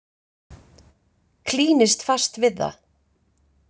Klínist fast við það.